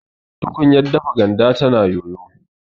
tukunyar dafa ganda tana yoyo